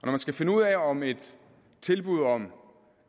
man skal finde ud af om et tilbud om